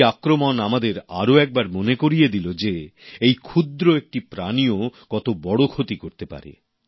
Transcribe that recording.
এই আক্রমণ আমাদের আরও একবার মনে করিয়ে দিল যে এই ক্ষুদ্র একটি প্রাণীও কত বড় ক্ষতি করতে পারে